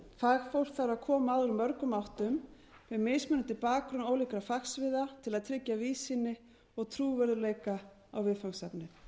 fagfólk þarf að koma að úr mörgum áttum með mismunandi bakgrunn ólíkra fagsviða til að tryggja víðsýni og trúverðugleika á viðfangsefnið